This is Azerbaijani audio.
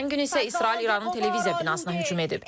Ötən gün isə İsrail İranın televiziya binasına hücum edib.